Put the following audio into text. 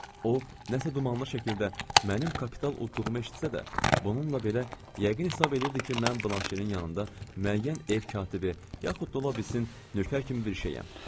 O, nəsə dumanlı şəkildə mənim kapital udduğumu eşitsə də, bununla belə yəqin hesab eləyirdi ki, mən Blanşenin yanında müəyyən ev katibi, yaxud da ola bilsin nökər kimi bir şeyəm.